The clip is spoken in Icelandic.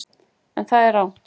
En það er rangt.